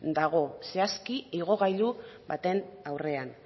dago zehazki igogailu baten aurrean